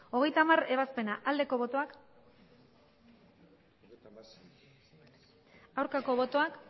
hogeita hamargarrena ebazpena bozka dezakegu aldeko botoak aurkako botoak